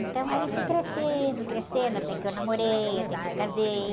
Então, aí fui crescendo, crescendo, até que eu namorei, até que eu casei.